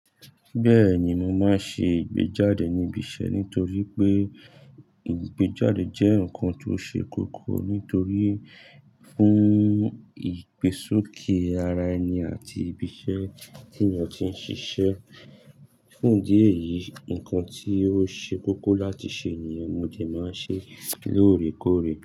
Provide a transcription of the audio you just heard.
Bẹ́ẹ̀ni, mo máa ń ṣe ìgbéjáde ní ibi iṣẹ́ nítorí pé ìgbéjáde jẹ́ nǹkan tó ṣe kókó nítorí fún ìgbésókè ara ẹni àti ibi iṣẹ́ tí ènìyàn tí ń ṣiṣẹ́. Fún ìdí ẹ̀yìí, nǹkan tí ó ṣe kókó láti ṣe nìyẹn mo jẹ máa ń ṣe lóòrèkóòrè.